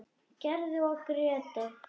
Gerður og Grétar.